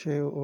Ṣé o